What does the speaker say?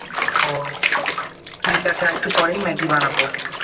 ও ঠিক আছে আর একটু পরে ম্যাগি বানাবো।